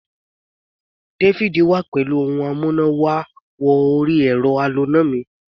David wá pẹ̀lú ohun amúná-wọ-orí-ẹ̀rọ aloná mi